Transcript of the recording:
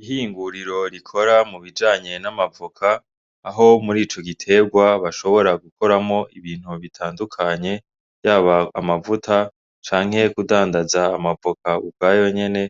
Ihinguriro rikora mu bijanye n'amavoka aho muri ico giterwa bashobora gukoramwo ibintu bitandukanye harimwo yaba amavuta canke kudandaza amavoka ukwayo nyene